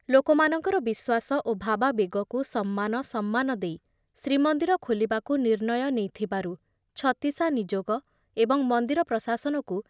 ଲୋକମାନଙ୍କର ବିଶ୍ଵାସ ଓ ଭାବାବେଗକୁ ସମ୍ମାନ ସମ୍ମାନ ଦେଇ ଶ୍ରୀମନ୍ଦିର ଖୋଲିବାକୁ ନିର୍ଣ୍ଣୟ ନେଇଥିବାରୁ ଛତିଶାନିଯୋଗ ଏବଂ ମନ୍ଦିର ପ୍ରଶାସନକୁ